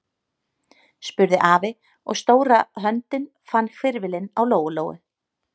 spurði afi, og stóra höndin fann hvirfilinn á Lóu-Lóu.